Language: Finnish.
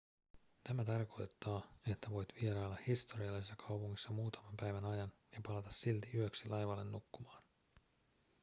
tämä tarkoittaa että voit vierailla historiallisessa kaupungissa muutaman päivän ajan ja palata silti yöksi laivalle nukkumaan